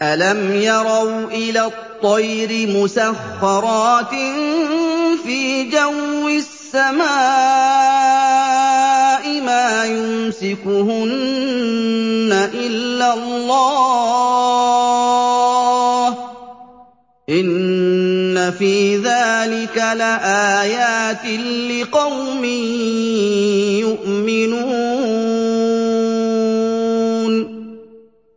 أَلَمْ يَرَوْا إِلَى الطَّيْرِ مُسَخَّرَاتٍ فِي جَوِّ السَّمَاءِ مَا يُمْسِكُهُنَّ إِلَّا اللَّهُ ۗ إِنَّ فِي ذَٰلِكَ لَآيَاتٍ لِّقَوْمٍ يُؤْمِنُونَ